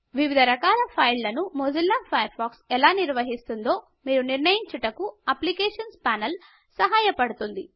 వివిధ రకాల ఫైళ్ళను మొజిల్లా ఫాయర్ ఫాక్స్ ఎలా నిర్వహిస్తుందో మీరు నిర్ణయించుటకు అప్లికేషన్స్ ప్యానెల్ సహాయపడుతుంది